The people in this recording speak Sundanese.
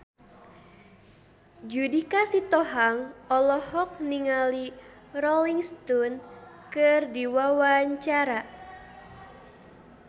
Judika Sitohang olohok ningali Rolling Stone keur diwawancara